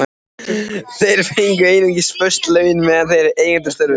Þeir fengu einungis föst laun meðan þeir gegndu störfunum.